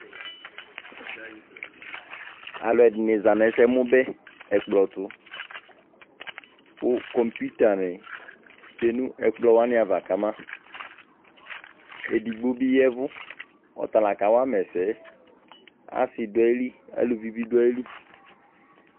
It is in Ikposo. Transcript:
Aaluɛɖini zaa nʋ ɛsɛmubɛ n'ɛkplɔtʋ kʋ compuitani tsue nʋ ɛkplɔava KamaEɖigbobi yɛvu ɔtala k'awuama ɛsɛyɛAasi ɖʋayili, aaluvibi ɖʋ ayili